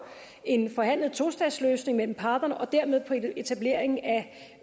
en forhandlet tostatsløsning mellem parterne og dermed på etablering af